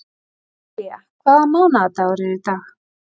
Elía, hvaða mánaðardagur er í dag?